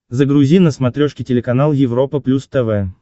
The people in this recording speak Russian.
загрузи на смотрешке телеканал европа плюс тв